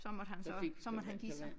Så måtte han så så måtte han give sig